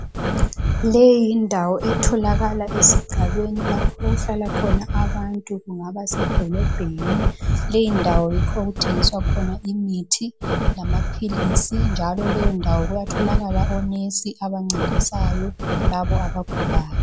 Leyi yindawo etholakala esigabeni lapho okuhlala khona abantu kungaba sedolobheni. Leyi ndawo yikho okuthengiswa khona imithi lamaphilisi njalo leyondawo kuyatholakala onesi abancedisayo labo abagulayo.